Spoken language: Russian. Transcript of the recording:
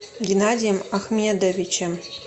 геннадием ахмедовичем